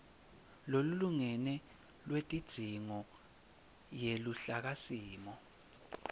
lolulingene lwetidzingo yeluhlakasimo